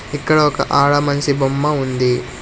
ఇక్కడ ఒక ఆడ మనిషి బొమ్మ ఉంది.